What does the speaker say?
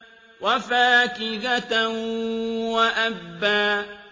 وَفَاكِهَةً وَأَبًّا